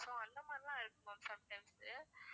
அதுக்கப்புறம் அந்த மாதிரியெல்லாம் இருக்கும் ma'am sometimes உ